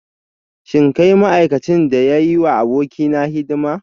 Shin kai ma'aikacin da ya yi wa abokaina hidima?